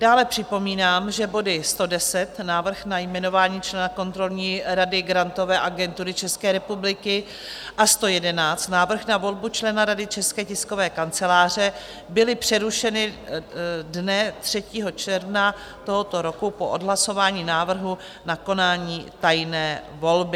Dále připomínám, že body 110, Návrh na jmenování člena kontrolní rady Grantové agentury České republiky a 111, Návrh na volbu člena Rady České tiskové kanceláře, byly přerušeny dne 3. června tohoto roku po odhlasování návrhu na konání tajné volby.